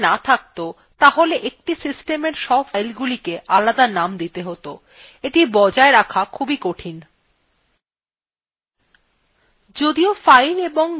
যদি directory names থাকত তাহলে একটি systemএর সব filesগুলিকে আলাদা names দিতে হত এটি বজায় রাখা খুবই কঠিন